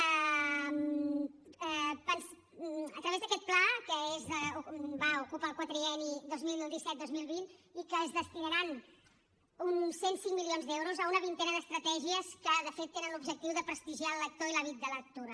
a través d’aquest pla que ocupa el quadrienni dos mil disset dos mil vint es destinaran uns cent i cinc milions d’euros a una vintena d’estratègies que de fet tenen l’objectiu de prestigiar el lector i l’hàbit de la lectura